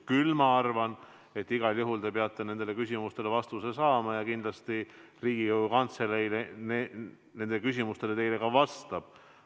Küll ma arvan, et igal juhul te peate nendele küsimustele vastuse saama, ja kindlasti Riigikogu Kantselei nendele küsimustele teile ka vastab.